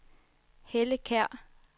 Helle Kjær